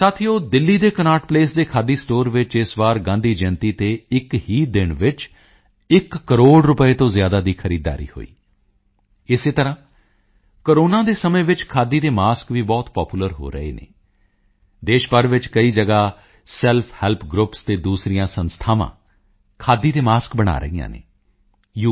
ਸਾਥੀਓ ਦਿੱਲੀ ਦੇ Connaught Place ਦੇ ਖਾਦੀ ਸਟੋਰ ਵਿੱਚ ਇਸ ਵਾਰੀ ਗਾਂਧੀ ਜਯੰਤੀ ਤੇ ਇੱਕ ਹੀ ਦਿਨ ਵਿੱਚ ਇੱਕ ਕਰੋੜ ਰੁਪਏ ਤੋਂ ਜ਼ਿਆਦਾ ਦੀ ਖਰੀਦਦਾਰੀ ਹੋਈ ਇਸੇ ਤਰ੍ਹਾਂ ਕੋਰੋਨਾ ਦੇ ਸਮੇਂ ਵਿੱਚ ਖਾਦੀ ਦੇ ਮਾਸਕ ਵੀ ਬਹੁਤ ਪਾਪੂਲਰ ਹੋ ਰਹੇ ਹਨ ਦੇਸ਼ ਭਰ ਵਿੱਚ ਕਈ ਜਗ੍ਹਾ ਸੈਲਫ ਹੈਲਪ ਗਰੁੱਪਸ ਅਤੇ ਦੂਸਰੀਆਂ ਸੰਸਥਾਵਾਂ ਖਾਦੀ ਦੇ ਮਾਸਕ ਬਣਾ ਰਹੀਆਂ ਹਨ ਯੂ